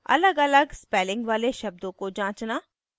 अलगअलग spelling वाले शब्दों को जांचना